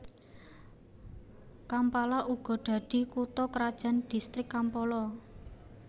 Kampala uga dadi kutha krajan distrik Kampala